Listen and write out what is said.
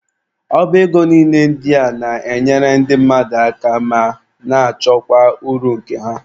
Ọba ego niile ndị a na-enyere ndị mmadụ aka ma na-achọkwa uru nke ha.